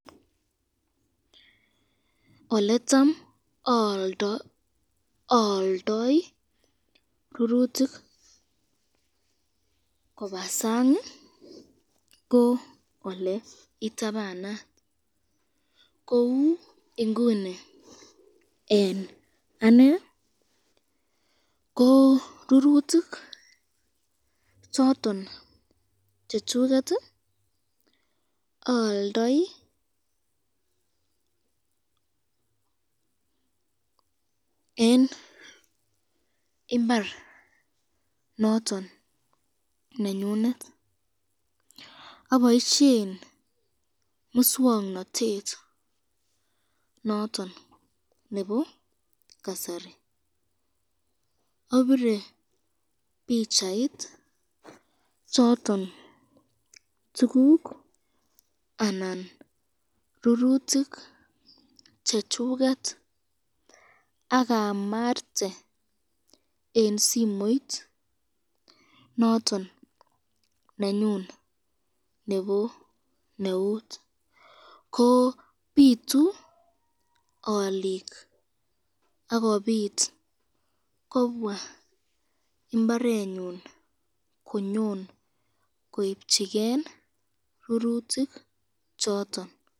Oletam ayaldoi rururtik Koba sang ko le itabana Kou inguni en ane ko rururtik choton chachuket ayaldai en imbar noton nenyinet abaishen muswaknatet noton Nebo kasari abire bichait choton tuguk anan rururtik chachuket akamarte en simoit noton nanyun Nebo neut kobitu olik akobit kobwa imbarenyun konyon koibchigein rururtik choton